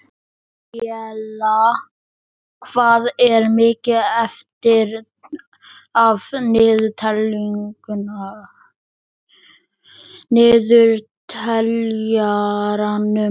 Maríella, hvað er mikið eftir af niðurteljaranum?